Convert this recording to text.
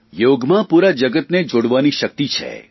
યોગમાં પુરા જગતને જોડવાની શક્તિ છે